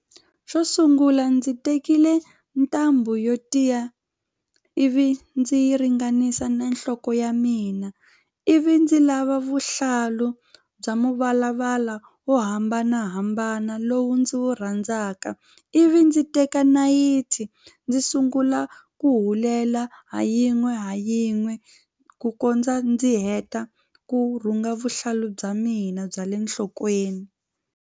Xo sungula ndzi tekile ntambhu yo tiya ivi ndzi yi ringanisa na nhloko ya mina ivi ndzi lava vuhlalu bya mavalavala wo hambanahambana lowu ndzi wu rhandzaka ivi ndzi teka nayiti ndzi sungula ku hulela ha yin'we ha yin'we ku kondza ndzi heta ku rhunga vuhlalu bya mina bya le nhlokweni.